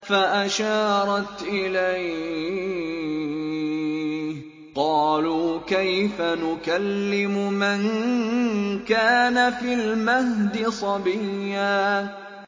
فَأَشَارَتْ إِلَيْهِ ۖ قَالُوا كَيْفَ نُكَلِّمُ مَن كَانَ فِي الْمَهْدِ صَبِيًّا